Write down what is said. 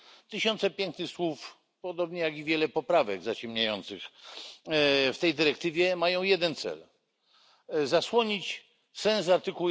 Tysiące pięknych słów podobnie jak i wiele poprawek zaciemniających w tej dyrektywie mają jeden cel zasłonić sens art.